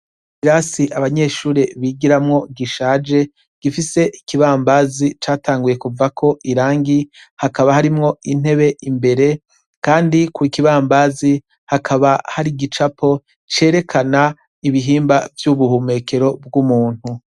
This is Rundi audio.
Ikirasi abanyeshuri bigiramwo gishaje, gifise ikibambazi catanguye kuvako irangi; hakaba harimwo intebe imbere; kandi ku kibambazi hakaba hari igicapo cerekana ibihimba vy'ubuhumekero bw'umuntu.